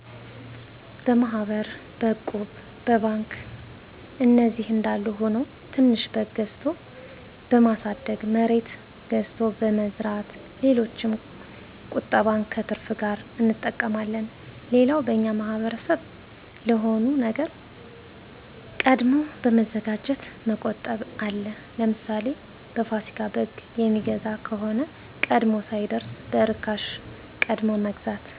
በማሕበር፣ በእቁብ፣ በባንክ እነዚህ አንዳሉ ሁኖ ትንሽ በግ ገዝቶ በማሣደግ፣ መሬት ገዝቶ በመዝራት ሌሎችም ቁጠባን ከትርፍ ጋር አንጠቀማለን። ሌላው በእኛ ማሕበረሰብ ለሆነ ነገር ቀድሞ በመዘጋጀት መቆጠብ አለ። ለምሣሌ፦ በፋሲካ በግ የሚገዛ ከሆነ ቀድሞ ሳይደርስ በእርካሽ ቀድሞ መግዛት።